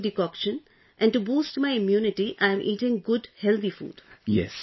I am still taking decoction and to boost my immunity, I am eating good, healthy food